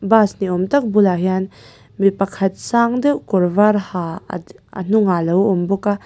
bus ni awm tak bulah hian mi pakhat sang deuh kawr var ha a a hnung ah alo awm bawk a.